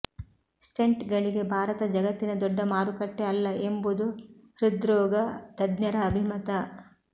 ಸ್ಟೆಂಟ್ಗಳಿಗೆ ಭಾರತ ಜಗತ್ತಿನ ದೊಡ್ಡ ಮಾರುಕಟ್ಟೆ ಅಲ್ಲ ಎಂಬುದು ಹೃದ್ರೋಗ ತಜ್ಞರ ಅಭಿಮತ